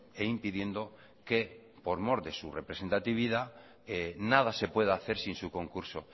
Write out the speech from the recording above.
e impidiendo que por mor de su representatividad nada se pueda hacer sin su concurso